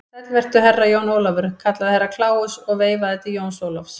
Sæll vertu, Herra Jón Ólafur, kallaði Herra Kláus og veifaði til Jóns Ólafs.